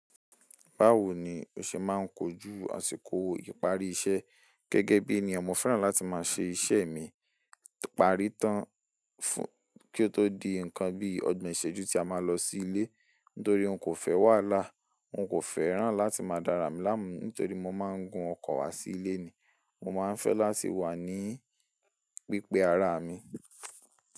Báwo ni o ṣe máa ń kojú àsìkò ìparí iṣẹ́? Gẹ́gẹ́ bí ẹniyan mọ fẹ́ràn láti máa ṣe iṣẹ́ mi, parí tán fún kí ó tó di ǹkan bí ọgbọ̀n ìṣẹ́jú tí a máa lọ sí ilé. Nítorí n kò fẹ́ wàhalá, n kò fẹ́ràn láti máa dára mì lánu nítorí mo máa ń gun ọkọ̀ wá sí ilé ni. Mo máa ń fẹ́ láti wà ní pípe ara mi.